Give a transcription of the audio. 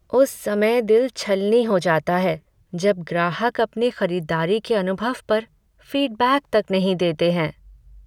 उस समय दिल छलनी हो जाता है जब ग्राहक अपने खरीदारी के अनुभव पर फ़ीडबैक तक नहीं देते हैं।